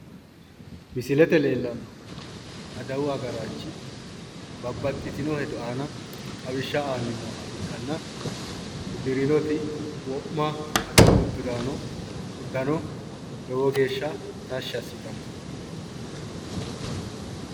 Misilete leellannohu adawu agaraanchi babbaxitino hedo aana xawishsha aanni nooha ikkanna uddirnoti wo'ma adawu uddano lowo geeshsha tashshi assitanno.